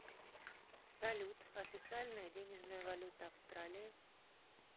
салют официальная денежная валюта австралии